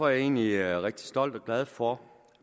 jeg egentlig rigtig stolt af og glad for